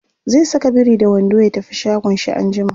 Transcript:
zai Saka biri da wando ya tafi shagon shi anjima